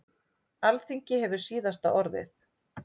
Alþingi hefur síðasta orðið